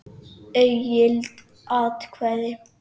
Ógild atkvæði